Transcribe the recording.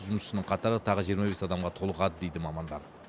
жұмысшының қатары тағы жиырма бес адамға толығады дейді мамандар